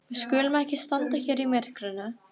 Við skulum ekki standa hér í myrkrinu.